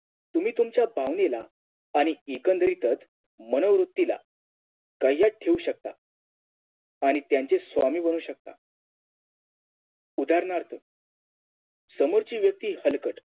तुम्ही तुमच्या भावनेला आणि एकंदरीतच मनोवृत्तीला कायद्यात ठेऊ शकता आणि त्यांचे स्वामी बनवू शकता उदाहरणार्थ समोरची व्यक्ती हलकट